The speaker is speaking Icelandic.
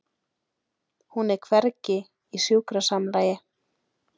Hún er hvergi í sjúkrasamlagi.